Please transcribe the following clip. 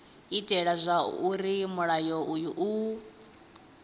itela zwauri mulayo uyu u